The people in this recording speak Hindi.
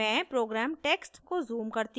मैं program text को zoom करती हूँ